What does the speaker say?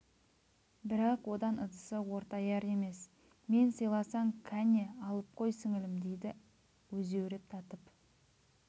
бірақ одан ыдысы ортаяр емес мен сыйласаң кәне алып қой сіңілім дейді өзеуреп татып